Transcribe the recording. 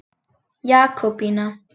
Jakobína